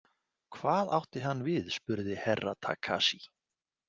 Hvað átti hann við spurði Herra Takashi.